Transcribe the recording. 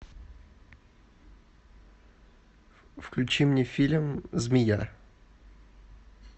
включи мне фильм змея